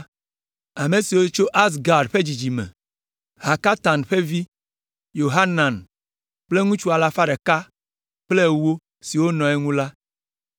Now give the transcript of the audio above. Ame siwo tso Azgad ƒe dzidzime me: Hakatan ƒe vi, Yohanan kple ŋutsu alafa ɖeka kple ewo (110) siwo nɔ eŋu la;